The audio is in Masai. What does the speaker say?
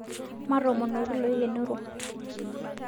Matoomonoki loikenoro